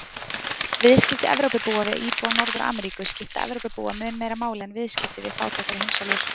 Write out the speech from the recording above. Viðskipti Evrópubúa við íbúa Norður-Ameríku skipta Evrópubúa mun meira máli en viðskipti við fátækari heimsálfur.